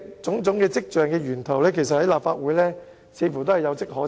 種種跡象的源頭，在立法會似乎也有跡可尋。